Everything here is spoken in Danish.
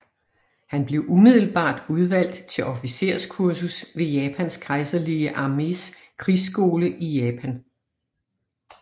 Han blev umiddelbart udvalgt til officerskursus ved Japans kejserlige armés krigsskole i Japan